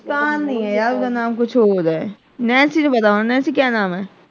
ਮੁਸਕਾਨ ਨਹੀਂ ਹੈ ਓਹਦਾ ਨਾਮ ਕੁਛ ਹੋਰ ਹੈ ਨੈਂਸੀ ਨੂੰ ਪਤਾ ਹੋਣਾ ਨੈਂਸੀ ਕਿਆ ਨਾਮ ਏ।